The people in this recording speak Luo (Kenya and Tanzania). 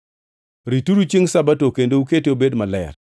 Rituru chiengʼ Sabato kendo ukete obed maler.